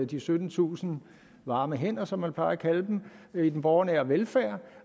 de syttentusind varme hænder som man plejer at kalde dem i den borgernære velfærd